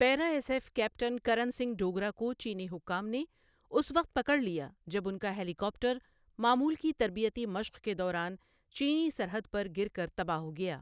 پیرا S F captain Karan Singh Dogra کو چینی حکام نے اس وقت پکڑ لیا جب ان کا ہیلی کاپٹر معمول کی تربیتی مشق کے دوران چینی سرحد پر گر کر تباہ ہو گیا۔